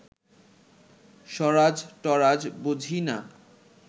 স্বরাজ-টরাজ বুঝি না